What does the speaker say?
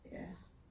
Ja